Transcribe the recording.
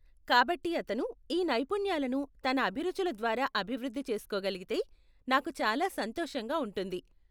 కాబట్టి అతను ఈ నైపుణ్యాలను తన అభిరుచుల ద్వారా అభివృద్ధి చేస్కోగలిగితే, నాకు చాలా సంతోషంగా ఉంటుంది.